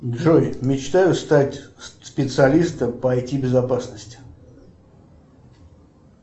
джой мечтаю стать специалистом по ай ти безопасности